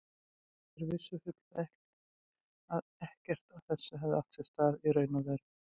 Þeir vissu fullvel að ekkert af þessu hefði átt sér stað í raun og veru.